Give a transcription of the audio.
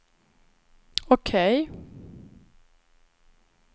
OK